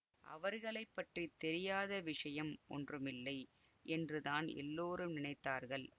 அவர்களை பற்றி தெரியாத விஷயம் ஒன்றுமில்லை யென்றுதான் எல்லோரும் நினைத்தார்கள்